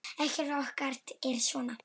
Ekkert okkar er svona.